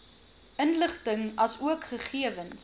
inligting asook gegewens